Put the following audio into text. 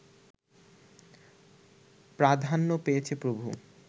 প্রাধান্য পেয়েছে প্রভু